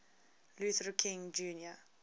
luther king jr